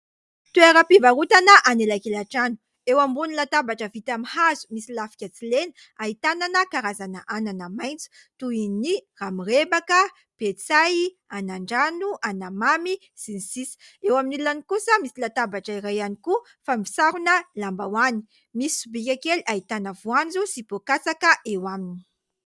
Toeram-pivarotana anelakelan-trano. Eo ambony latabatra vita amin'ny hazo misy lafika tsilena ahitana karazana anana maitso toy : ny ramirebaka, petsay, anandrano, anamamy sy ny sisa. Eo amin'ilany kosa misy latabatra iray ihany koa fa misarona lambahoany. Misy sobika kely ahitana voanjo sy poa-katsaka eo aminy.